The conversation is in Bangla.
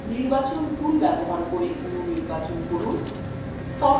নির্বাচন tool ব্যবহার করে অণু নির্বাচন করুন